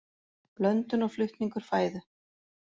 Blöndun og flutningur fæðu.